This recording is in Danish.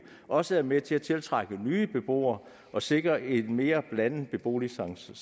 også er med til at tiltrække nye beboere og sikre en mere blandet beboersammensætning